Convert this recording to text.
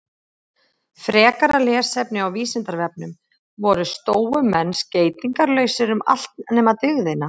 Frekara lesefni á Vísindavefnum: Voru stóumenn skeytingarlausir um allt nema dygðina?